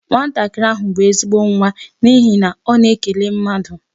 Nwatakịrị ahụ bụ ezigbo nwa n'ihi na ọ na-ekele mmadụ.